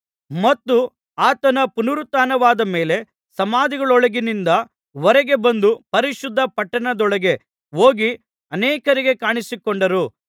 ಮತ್ತು ಆತನ ಪುನರುತ್ಥಾನವಾದ ಮೇಲೆ ಸಮಾಧಿಗಳೊಳಗಿಂದ ಹೊರಗೆ ಬಂದು ಪರಿಶುದ್ಧ ಪಟ್ಟಣದೊಳಗೆ ಹೋಗಿ ಅನೇಕರಿಗೆ ಕಾಣಿಸಿಕೊಂಡರು